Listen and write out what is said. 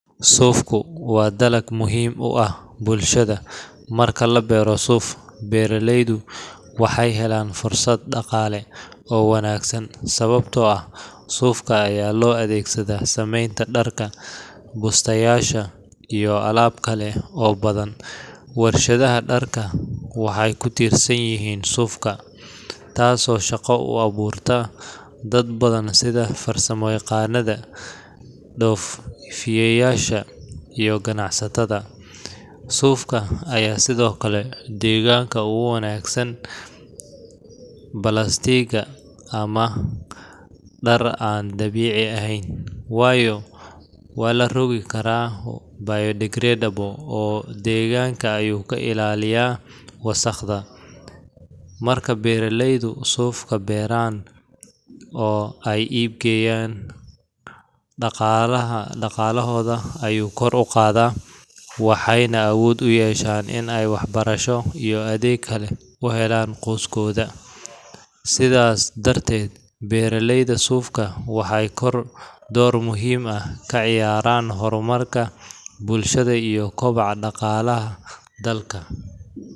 Suufku waa dalag muhiim u ah bulshada. Marka la beero suuf, beeraleydu waxay helaan fursad dhaqaale oo wanaagsan, sababtoo ah suufka ayaa loo adeegsadaa samaynta dharka, bustayaasha, iyo alaab kale oo badan. Warshadaha dharka waxay ku tiirsan yihiin suufka, taasoo shaqo u abuurta dad badan sida farsamayaqaannada, dhoofiyeyaasha, iyo ganacsatada. Suufka ayaa sidoo kale deegaanka uga wanaagsan balaastiigga ama dhar aan dabiici ahayn, waayo waa la rogi karaa biodegradable oo deegaanka ayuu ka ilaalinayaa wasakhda. Marka beeraleydu suufka beeraan oo ay iib geeyaan, dhaqaalahooda ayuu kor u qaadaa, waxayna awood u yeeshaan in ay waxbarasho iyo adeegyo kale u helaan qoyskooda. Sidaas darteed, beeraleyda suufka waxay door muhiim ah ka ciyaaraan horumarka bulshada iyo kobaca dhaqaalaha dalka.